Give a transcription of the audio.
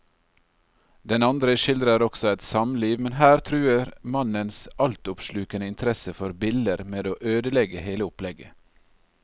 Den andre skildrer også et samliv, men her truer mannens altoppslukende interesse for biller med å ødelegge hele opplegget.